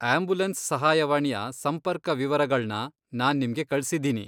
Ambulance ಸಹಾಯವಾಣಿಯ ಸಂಪರ್ಕ ವಿವರಗಳ್ನ ನಾನ್ ನಿಮ್ಗೆ ಕಳ್ಸಿದ್ದೀನಿ.